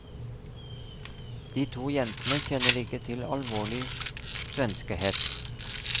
De to jentene kjenner ikke til alvorlig svenskehets.